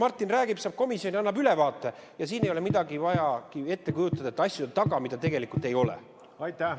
Martin räägib ka komisjonis, annab ülevaate, ja siin ei ole vaja ette kujutada, et asjade taga on midagi, mida tegelikult ei ole.